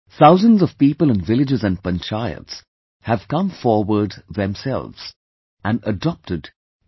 Thousands of people in villages & Panchayats have come forward themselves and adopted T